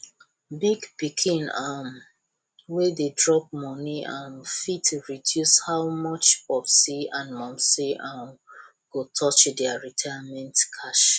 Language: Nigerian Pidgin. big pikin um wey dey drop money um fit reduce how much popsi and momsi um go touch their retirement cash